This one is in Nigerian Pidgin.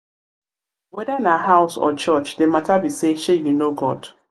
weda na house or church the mata be say shey yu know god?